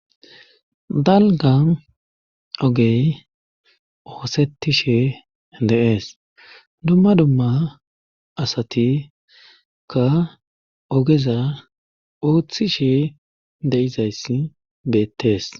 dalga ogey oosetti she de7ees dumma dumma asati ka ogeza ooththi she de7izayssi beettees